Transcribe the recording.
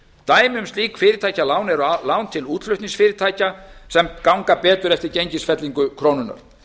dæmi um slík fyrirtækjalán eru lán til útflutningsfyrirtækja sem ganga betur eftir gengisfellingu krónunnar